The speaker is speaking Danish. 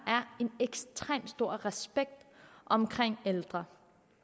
en ekstremt stor respekt om ældre